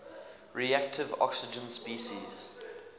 reactive oxygen species